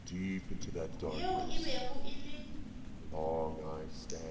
yeo e bego e le